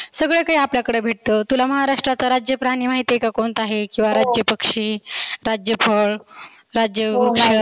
सगळ काही आपल्याकड भेटतं. तुला महाराष्ट्राचा राज्य प्राणी माहिती आहे का? कोणता आहे? किंवा राज्य पक्षी, राज्य फळ, राज्य